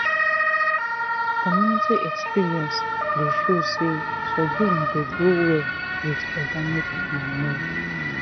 community experience dey show say sorghum dey grow well with organic manure."